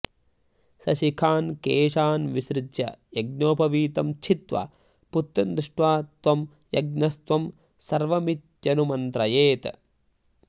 सशिखान्केशान्विसृज्य यज्ञोपवीतं छित्त्वा पुत्रं दृष्ट्वा त्वं यज्ञस्त्वं सर्वमित्यनुमन्त्रयेत्